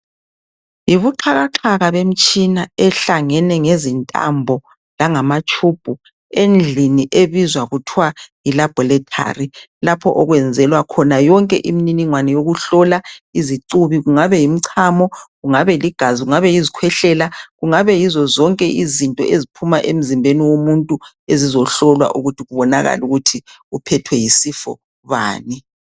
Yibuxhakaxhaka bemitshina ehlangene ngezintambo langama tshubhu endlini ebizwa kuthiwa yi laborethari lapho okwenzelwa khona yonke imniningwane yokuhlola izicubi kungaba yimchamo, kungaba ligazi kungaba izikhwehlela kungaba yizo zonke izinto eziphuma emzimbeni womuntu ezizohlolwa ukuthi kubonakale ukuthi uphethwe yisifo bani.